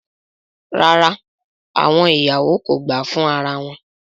Rara, awọn iyawo ko gba fun ara wọn